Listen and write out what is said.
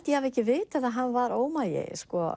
ég hafi ekki vitað að hann var ómagi